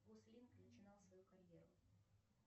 гослинг начинал свою карьеру